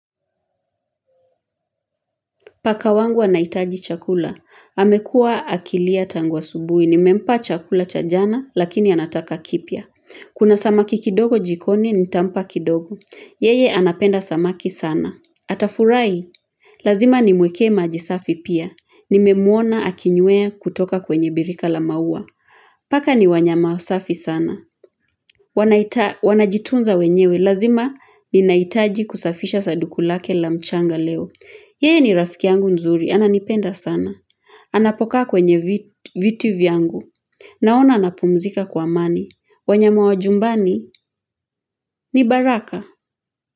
Paka wangu anaitaji chakula. Amekua akilia tangu asubuhi. Nimempa chakula chajana, lakini anataka kipya. Kuna samaki kidogo jikoni, nitampa kidogo. Yeye anapenda samaki sana. Atafurahi. Lazima ni mwekee majisafi pia. Nimemwona akinyea kutoka kwenye birika la maua. Paka ni wanyama wasafi sana. Wanajitunza wenyewe. Lazima ni naitaji kusafisha sadukulake la mchanga leo. Yeye ni rafiki yangu mzuri. Ananipenda sana. Anapokaa kwenye viti vyangu. Naona anapumzika kwa amani. Wanyama wa jumbani ni baraka.